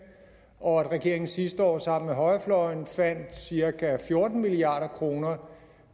og at regeringen sidste år sammen med højrefløjen fandt cirka fjorten milliard kroner